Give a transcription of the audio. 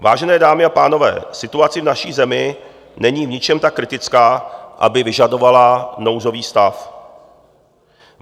Vážené dámy a pánové, situace v naší zemi není v ničem tak kritická, aby vyžadovala nouzový stav.